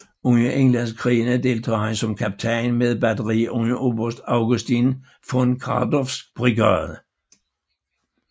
Under Englandskrigene deltog han som kaptajn med et batteri under oberst Augustin von Kardorffs brigade